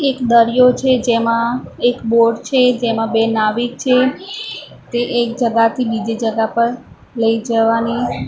એક દરિયો છે જેમાં એક બોટ છે જેમાં બે નાવિક છે તે એક જગહ થી બીજી જગહ પર લઈ જવાની--